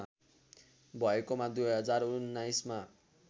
भएकोमा २०१९ मा